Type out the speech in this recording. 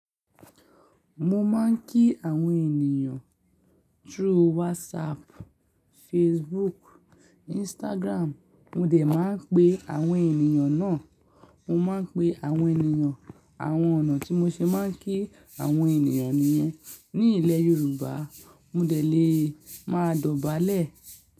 Mo máa ń kí àwọn ènìyàn through WhatsApp, Facebook, Instagram. Mo dè máa ń pe àwọn ènìyàn náà. Mo máa ń pe àwọn ènìyàn àwọn ọ̀nà tí mo ṣe máa ń kí àwọn ènìyàn nìyen ní ilẹ̀ Yorùbá, mo dè lè máa dọ̀bálẹ̀